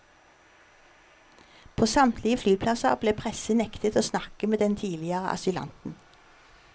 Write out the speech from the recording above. På samtlige flyplasser ble pressen nektet å snakke med den tidligere asylanten.